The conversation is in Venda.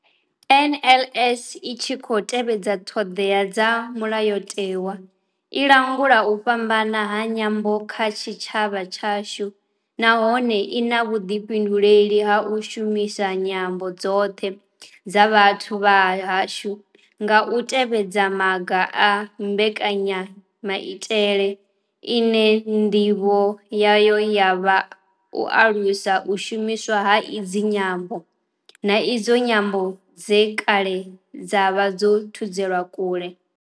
NLS I tshi khou tevhedza ṱhodea dza Mulayotewa i langula u fhambana ha nyambo kha tshitshavha tshashu nahone I na vhuḓifhinduleli ha u shumisa nyambo dzoṱhe dza vhathu vha hashu nga u tevhedza maga a mbekanyamaitele ine ndivho yayo ya vha u alusa u shumiswa ha idzi nyambo na idzo nyambo dze kale dza vha dzo thudzelwa kule.